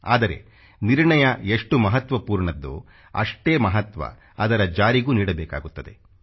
ಆದರೆ ನಿರ್ಣಯ ಎಷ್ಟು ಮಹತ್ವಪೂರ್ಣದ್ದೋ ಅಷ್ಟೇ ಮಹತ್ವ ಅದರ ಜಾರಿಗೂ ನೀಡಬೇಕಾಗುತ್ತದೆ